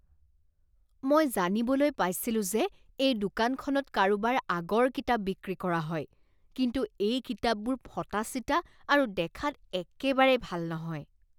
মই জানিবলৈ পাইছিলোঁ যে এই দোকানখনত কাৰোবাৰ আগৰ কিতাপ বিক্ৰী কৰা হয় কিন্তু এই কিতাপবোৰ ফটা চিটা আৰু দেখাত একেবাৰেই ভাল নহয়।